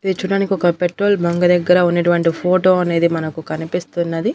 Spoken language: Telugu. ఇది చూడడానికి ఒక పెట్రోల్ బంక్ దగ్గర ఉన్నటువంటి ఫోటో అనేది మనకు కనిపిస్తున్నది.